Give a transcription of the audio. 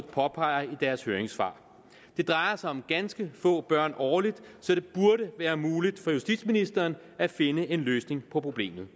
påpeger i deres høringssvar det drejer sig om ganske få børn årligt så det burde være muligt for justitsministeren at finde en løsning på problemet